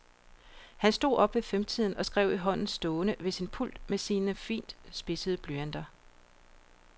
Han stod op ved femtiden og skrev i hånden stående ved sin pult med sine fint spidsede blyanter.